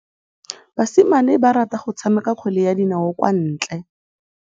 Basimane ba rata go tshameka kgwele ya dinaô kwa ntle.